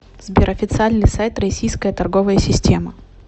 сбер официальный сайт российская торговая система